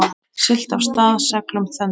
Siglt af stað seglum þöndum.